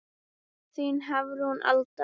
Þín Hafrún Alda.